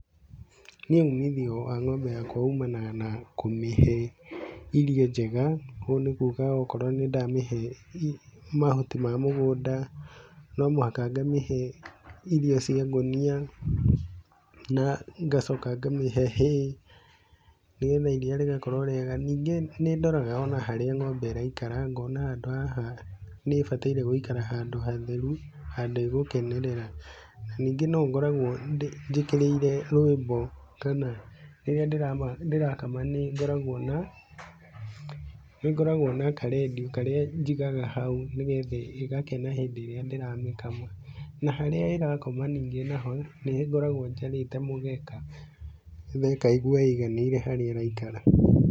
Nĩ uumithio wa ng'ombe yakwa umanaga na kũmĩhe irio njega kũu nĩ kuga okorwo nĩndamĩhe mahuti ma mũgũnda no mũhaka ngamĩhe irio cia ngũnia na ngacoka ngamĩhe hay nĩgetha iriia rĩgakorwo rĩega. Ningĩ nĩ ndoraga ona harĩa ng'ombe ĩraikara ngona handũ haha nĩ ibataire gũikara handũ hatheru, handu ĩgũkenerera. Ningĩ no ngoragwo njĩkĩrĩire rwĩmbo kana rĩrĩa ndĩrakama nĩgoragwo na nĩ ngoragwo na karediũ karĩa njigaga hau nĩgetha ĩgakena hĩndĩ ĩrĩa ndĩramĩkama. Na harĩa ĩrakoma nĩngĩ naho nĩngoragwo njarĩte mũgeka nĩgetha ĩkaigua ĩiganĩire harĩa ĩrakoma.